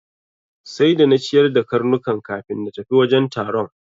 Sai da na ciyar da karnukan kafin na tafi wajen taron.